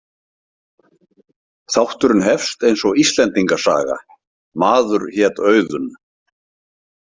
Þátturinn hefst eins og Íslendinga saga: „Maður hét Auðunn“.